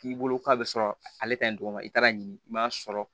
K'i bolo k'a bɛ sɔrɔ ale ka ɲi tɔgɔma i taara ɲini i m'a sɔrɔ